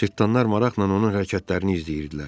Cırtdanlar maraqla onun hərəkətlərini izləyirdilər.